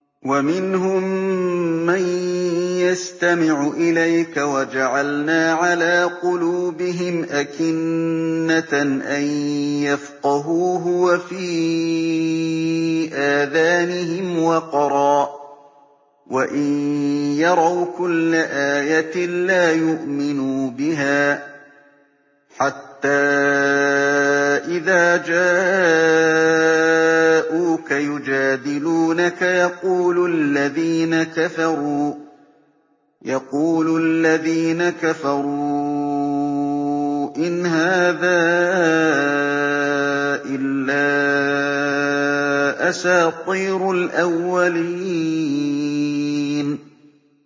وَمِنْهُم مَّن يَسْتَمِعُ إِلَيْكَ ۖ وَجَعَلْنَا عَلَىٰ قُلُوبِهِمْ أَكِنَّةً أَن يَفْقَهُوهُ وَفِي آذَانِهِمْ وَقْرًا ۚ وَإِن يَرَوْا كُلَّ آيَةٍ لَّا يُؤْمِنُوا بِهَا ۚ حَتَّىٰ إِذَا جَاءُوكَ يُجَادِلُونَكَ يَقُولُ الَّذِينَ كَفَرُوا إِنْ هَٰذَا إِلَّا أَسَاطِيرُ الْأَوَّلِينَ